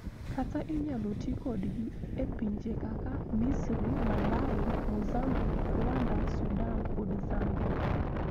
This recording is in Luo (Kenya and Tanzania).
Kata inyalo ti kodgi e pinje kaka Misri, Malawi, Mozambique, Rwanda, Sudan, kod Zambia.